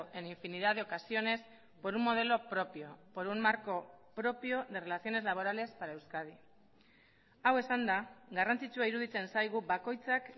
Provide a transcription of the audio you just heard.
en infinidad de ocasiones por un modelo propio por un marco propio de relaciones laborales para euskadi hau esanda garrantzitsua iruditzen zaigu bakoitzak